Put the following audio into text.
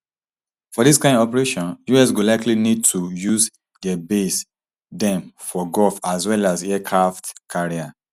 for dis kain operation us go likely need to use dia base dem for gulf as well as aircraft carriers